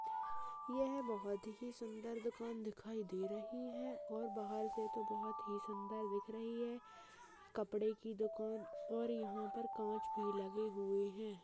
यह बहोत ही सुंदर दुकान दिखाई दे रही है और बाहर से तो बहोत ही सुंदर दिख रही है कपड़े की दुकान और यहाँ पर कांच भी लगे हुए हैं।